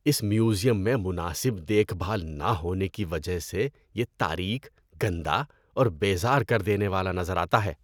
اس museum میں مناسب دیکھ بھال نہ ہونے کی وجہ سے یہ تاریک، گندا اور بیزار کر دینے والا نظر آتا ہے۔